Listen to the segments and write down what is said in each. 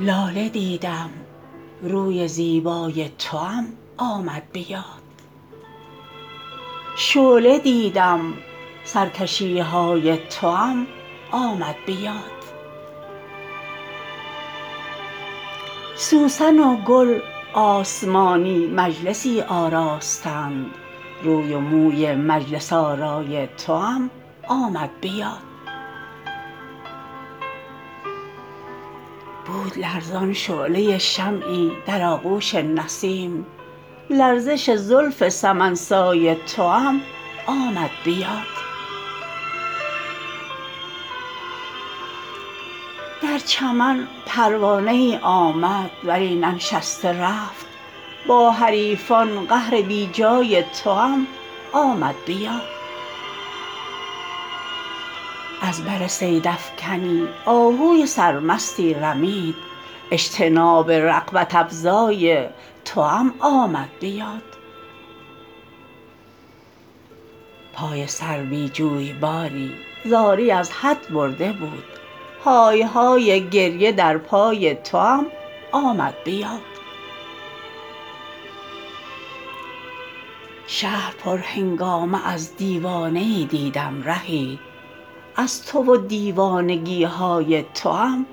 لاله دیدم روی زیبای توام آمد به یاد شعله دیدم سرکشی های توام آمد به یاد سوسن و گل آسمانی مجلسی آراستند روی و موی مجلس آرای توام آمد به یاد بود لرزان شعله شمعی در آغوش نسیم لرزش زلف سمن سای توام آمد به یاد در چمن پروانه ای آمد ولی ننشسته رفت با حریفان قهر بی جای توام آمد به یاد از بر صیدافکنی آهوی سرمستی رمید اجتناب رغبت افزای توام آمد به یاد پای سروی جویباری زاری از حد برده بود های های گریه در پای توام آمد به یاد شهر پرهنگامه از دیوانه ای دیدم رهی از تو و دیوانگی های توام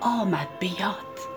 آمد به یاد